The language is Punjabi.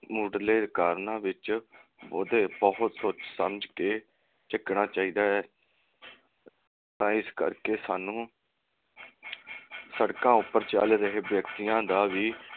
ਮੁੱਢਲੇ ਕਾਰਨਾਂ ਵਿਚ ਉਹਦਾ ਬਹੁਤ ਸੋਚ ਸਮਝ ਕੇ ਝੱਕਣਾ ਚਾਹੀਦਾ ਹੈ ਤਾਂ ਇਸ ਕਰਕੇ ਸਾਨੂੰ ਸੜਕਾਂ ਉਪਰ ਚਲ ਰਹੇ ਵਿਅਕਤੀਆਂ ਦਾ